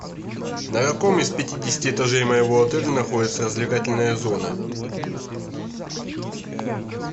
на каком из пятидесяти этажей моего отеля находится развлекательная зона